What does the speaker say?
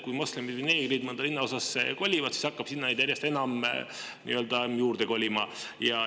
Kui moslemid ja neegrid mõnda linnaosasse kolivad, siis hakkab neid sinna järjest enam juurde kolima.